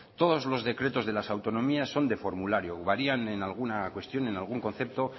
todos los decretos de las autonomías son de formulario varían en alguna cuestión en algún concepto